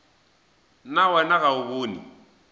na wena ga o bone